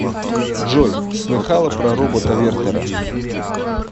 джой слыхала про робота вертера